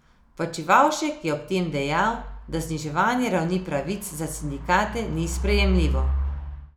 Počivavšek je ob tem dejal, da zniževanje ravni pravic za sindikate ni sprejemljivo.